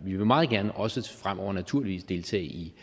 vil meget gerne også fremover naturligvis deltage i